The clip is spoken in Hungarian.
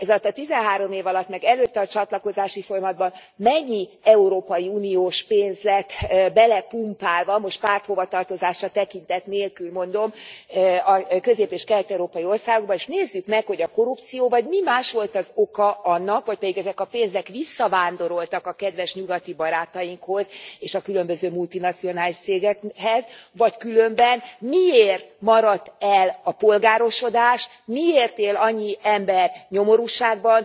Ezalatt a tizenhárom év alatt, meg előtte a csatlakozási folyamatban mennyi európai uniós pénz lett belepumpálva, most párthovatartozásra tekintet nélkül mondom a közép és kelet európai országokba, és nézzük meg, hogy a korrupció vagy mi más volt az oka annak, vagy pedig ezek a pénzek visszavándoroltak a kedves nyugati barátainkhoz és a különböző multinacionális cégekhez, vagy különben miért maradt el a polgárosodás, miért él annyi ember nyomorúságban,